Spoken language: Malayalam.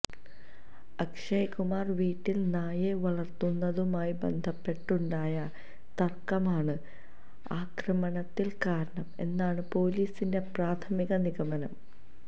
അക്ഷയ് കുമാര് വീട്ടില് നായയെ വളര്ത്തുന്നതുമായി ബന്ധപ്പെട്ടുണ്ടായ തര്ക്കമാണ് ആക്രമണത്തിന് കാരണം എന്നാണ് പൊലീസിെൻറ പ്രാഥമിക നിഗമനം